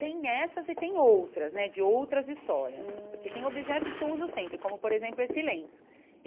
Tem essas e tem outras né, de outras histórias hum, porque tem objetos que eu uso sempre, como, por exemplo, esse lenço.